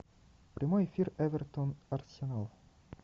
прямой эфир эвертон арсенал